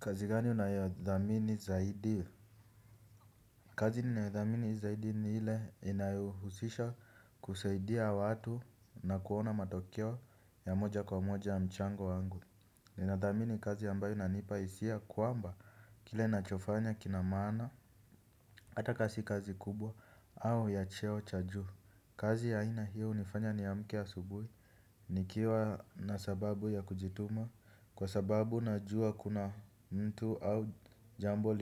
Kazi gani unayothamini zaidi? Kazi ninayothamini zaidi ni ile inayohusisha kusaidia watu na kuona matokeo ya moja kwa moja ya mchango wangu. Ninadhamini kazi ambayo inanipa hisia kwamba kile ninachofanya kina maana, hata ka si kazi kubwa au ya cheo cha juu. Kazi ya ina hiyo hunifanya niamke asubuhi nikiwa na sababu ya kujituma. Kwa sababu najua kuna mtu au jambo